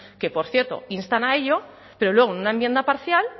que por cierto instan a ello pero luego en una enmienda parcial